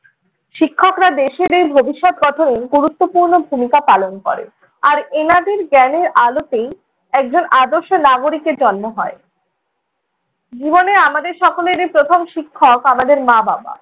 শিক্ষকরা দেশের এই ভবিষ্যত গঠনে গুরুত্বপূর্ণ ভূমিকা পালন করেন, আর এনাদের জ্ঞানের আলোতেই একজন আদর্শ নাগরিকের জন্ম হয়। জীবনে আমাদের সকলেরই প্রথম শিক্ষক আমাদের মা-বাবা।